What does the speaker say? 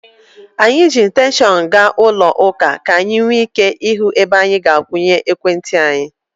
Anyị ji ekstenshọnụ gaa ụlọ ụka ka anyị nwee ike ịhụ ebe anyị ga-akwụnye ekwentị anyị.